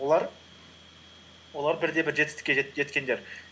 олар бірде бір жетістікке жеткендер